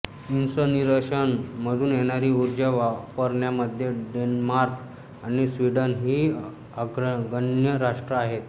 incineration मधून येणारी उर्जा वापरन्यामध्ये डेन्मार्क आणि स्वीडन ही अग्रगण्य राष्ट्र आहेत